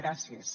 gràcies